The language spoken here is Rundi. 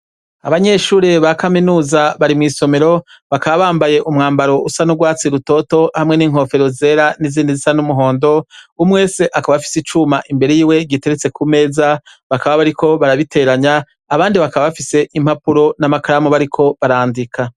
Abanyeshure ba kaminuza bari mw'isomero bakabambaye umwambaro usa n'urwatsi rutoto hamwe n'inkofero zera n'izindi zisa n'umuhondo umwese akaba afise icuma imbere yiwe giteretse ku meza bakaba bariko barabiteranya abandi bakaba bafise impapuro n'amakaramu bariko barandika.